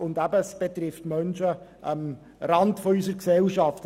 Und es geht hier um Menschen, die sich am Rande unserer Gesellschaft befinden.